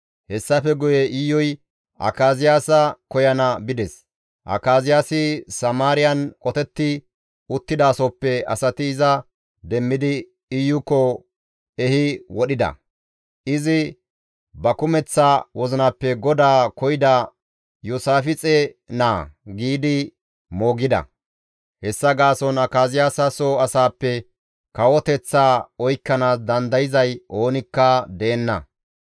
Hessafe guye Iyuy Akaziyaasa koyana bides; Akaziyaasi Samaariyan qotetti uttidasohoppe asati iza demmidi Iyokko ehi wodhida; izi «Ba kumeththa wozinappe GODAA koyida Iyoosaafixe naa» giidi moogida. Hessa gaason Akaziyaasa soo asaappe kawoteththaa oykkanaas dandayzay oonikka deenna.